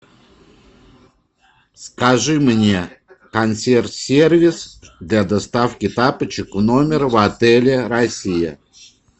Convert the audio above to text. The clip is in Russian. скажи мне консьерж сервис для доставки тапочек в номер в отеле россия